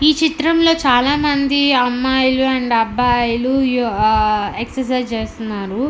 ఈ చిత్రంలో చాలా మంది అమ్మాయిలు అండ్ అబ్బాయిలు యు- ఆ ఎక్ససైజ్ చేస్తున్నారు.